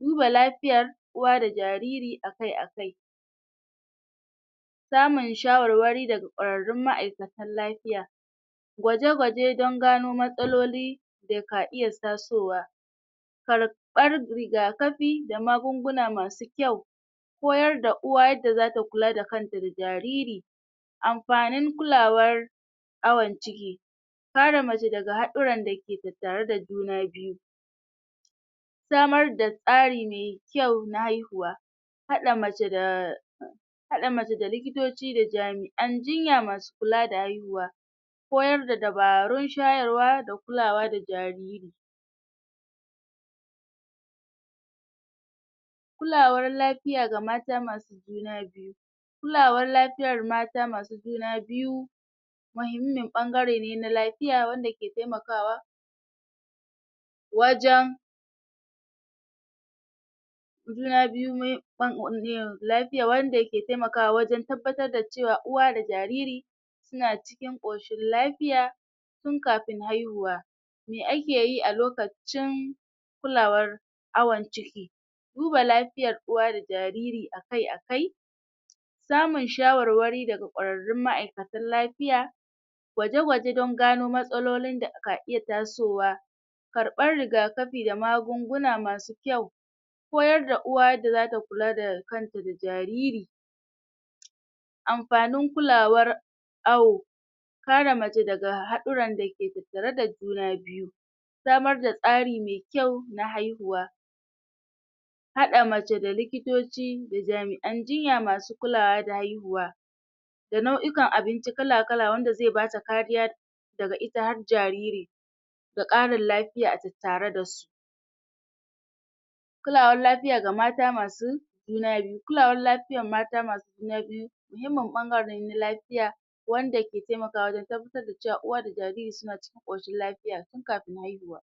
duba lafiyar uwa da jariri akai akai samun shawarwari daga kwararrun ma'aikatan lafiya gwaje-gwaje dan gano matsaloli da ka iya tazo wa karɓar rigakafi da magunguna masu kyau koyar da uwa yadda zata kula da kanta da jariri amfanin kulawar awan ciki kare mace daga haɗiren dake tattare da juna biyu samar da tsari mai kyau na haihuwa haɗe mace da haɗa mace da likitoci da jami'an jinya masu kula da haihuwa koyar da dubarun shayarwa da kulawa da jariri kulawar lafiya ga mata masu juna biyu kulawar lafiyar mata masu juna biyu mahimmin ɓangare ne na lafiya wanda ke taiamakawa wajan juna biyu um lafiya wanda ke taiamakawa wajan tabbatar da cewa uwa da jariri suna cikin ƙoshin lafiya tun kafin haihuwa me ake yi a lokacin kulawar awan ciki duba lafiyar uwa da jariri akai akai samun shawarwari daga kwararrun ma'aikatan lafiya gwaje-gwaje dan gano matsalolin da ka iya tasowa karɓar rigakafi da magunguna masu kyau koyar da uwa yadda zata kula da kanta da jariri amfanin kulawar awo kare mace daga haɗuran dake tattare da juna biyu samar da tsari mai kyau da haihuwa haɗa mace da likitoci da jami'an jinya masu kulawa da haihuwa da nau'ikan abinci kala-kala wanda zai bata kariya daga ita har jariri da ƙarin lafiya a tattare dasu kulawar lafiya ga mata masu juna biyu, kulawar lafiyar mata masu juna biyu muhimmin ɓangarene na lafiya wanda ke taimakawa wajan tabbatar da cewa uwa da jariri suna cikin ƙoshin lafiya tun kafin haihuwa.